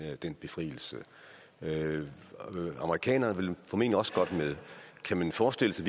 den befrielse amerikanerne vil formentlig også godt med kan man forestille sig